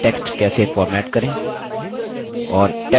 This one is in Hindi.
drawings में text कैसे format करें और